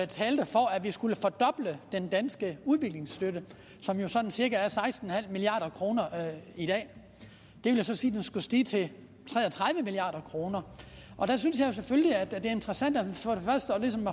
talte for at vi skulle fordoble den danske udviklingsstøtte som jo sådan cirka er på seksten milliard kroner i dag det vil sige at den skulle stige til tre og tredive milliard kroner der synes jeg selvfølgelig at det er interessant